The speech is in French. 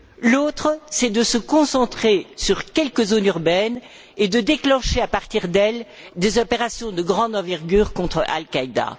L'autre vise à se concentrer sur quelques zones urbaines et à déclencher à partir d'elles des opérations de grande envergure contre Al Qaida.